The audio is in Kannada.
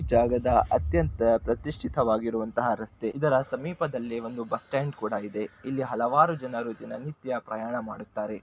ಜಾಗದ ಅತ್ಯಂತ ಪ್ರತಿಷ್ಠಿತ ವಾಗಿರುವಂತಹ ರಸ್ತೆ ಇದರ ಸಮೀಪದಲ್ಲಿ ಒಂದು ಬಸ್ ಸ್ಟ್ಯಾಂಡ್ ಕೂಡ ಇದೆ ಇಲ್ಲಿ ಹಲವಾರು ಜನರು ದಿನನಿತ್ಯ ಪ್ರಯಾಣ ಮಾಡುತ್ತಾರೆ.